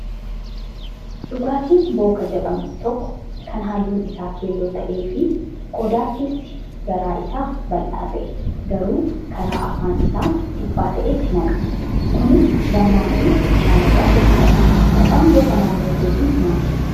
Dhugaatiin booka jedhamu tokko kan halluun isaa keelloo ta'ee fi qodaa keessi garaa isaa bal'aa ta'ee garuu karaa afaan isaa dhiphaa ta'etti naqama. Kunis dammaa fi bishaanirraa hojjatama. Maqaan bookaa naannoo keetti maali?